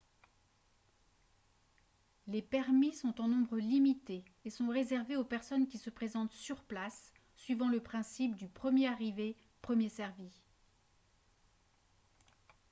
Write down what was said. les permis sont en nombre limité et sont réservés aux personnes qui se présentent sur place suivant le principe du premier arrivé premier servi